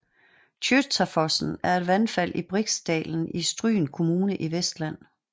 Tjøtafossen er et vandfald i Briksdalen i Stryn kommune i Vestland